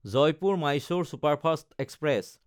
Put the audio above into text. জয়পুৰ–মাইছ'ৰ superfast express